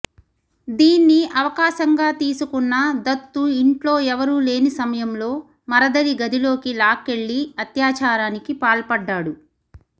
దీన్ని అవకాశంగా తీసుకున్న దత్తు ఇంట్లో ఎవరూ లేని సమయంలో మరదలి గదిలోకి లాక్కెళ్లి అత్యాచారానికి పాల్పడ్డాడు